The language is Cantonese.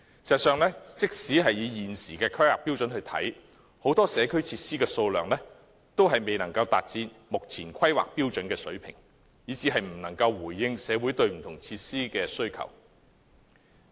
事實上，即使根據過往的規劃標準，現時很多社區設施的數量均未能達標，以致無法回應社會的需求。